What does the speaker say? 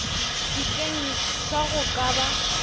sekeng sa go ka ba